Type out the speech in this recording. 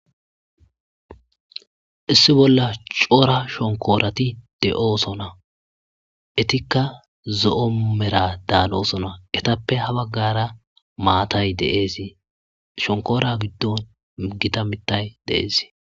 Issi bolla v Cora shonkorati de'osona, betiza zo'o mera danosona, etappe ha bagara matay de'es, shonkora giddon Gita mitay de'es.